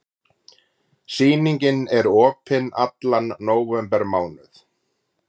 Sýningin er opin allan nóvembermánuð.